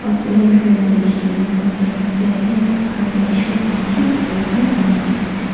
likhi kene poster khan bi ase aro yatey shop khan bishi khulikena buhikena ase.